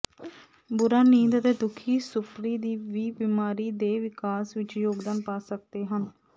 ਬੁਰਾ ਨੀਂਦ ਅਤੇ ਦੁਖੀ ਸੁਪਰੀ ਵੀ ਬੀਮਾਰੀ ਦੇ ਵਿਕਾਸ ਵਿੱਚ ਯੋਗਦਾਨ ਪਾ ਸਕਦੇ ਹਨ